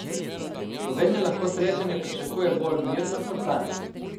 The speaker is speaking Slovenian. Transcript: Slovenija lahko srečanje pričakuje bolj mirno kot lani.